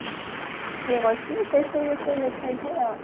ଇଏ କରିଥିଲେ ସେ ସବୁ ବିଷୟରେ ଲେଖାହେଇ ଥାଏ ଆଉ